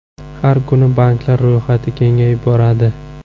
Har kuni banklar ro‘yxati kengayib boradi.